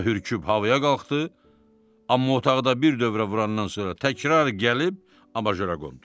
O da hürküb havaya qalxdı, amma otaqda bir dövrə vurandan sonra təkrar gəlib abajora qondu.